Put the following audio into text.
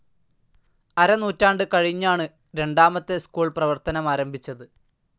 അരനൂറ്റാണ്ട് കഴിഞ്ഞാണ് രണ്ടാമത്തെ സ്കൂൾ പ്രവർത്തനമാരംഭിച്ചത്.